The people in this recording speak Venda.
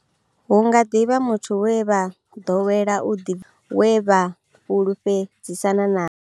Hu nga ḓi vha muthu we vha ḓowela u ḓibvisa nae kana we vha fhulufhedzisana nae.